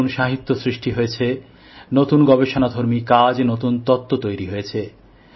নতুন সাহিত্য সৃষ্টি হয়েছে নতুন গবেষণাধর্মী কাজ নতুন তত্ত্ব তৈরি হয়েছে